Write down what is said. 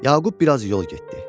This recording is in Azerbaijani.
Yaqub biraz yol getdi.